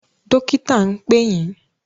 Dọ́kítà ń pè yín.